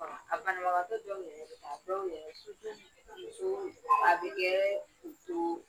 ; Banabagatɔ dɔw yɛrɛ a dɔw yɛrɛ so jɔ yen, musoo a bɛ kɛ k'u too